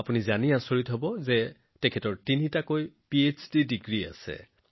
আপুনি জানি আচৰিত হব যে তেওঁৰ তিনিটা পিএইচডি ডিগ্ৰীও আছে